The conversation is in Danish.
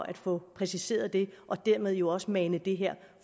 at få præciseret det og dermed jo også få manet det her